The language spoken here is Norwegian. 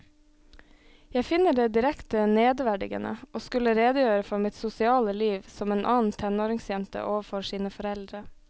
Jeg finner det direkte nedverdigende å skulle redegjøre for mitt sosiale liv som en annen tenåringsjente overfor sine foreldre.